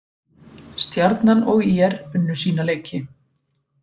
Stjarnan og ÍR unnu sína leiki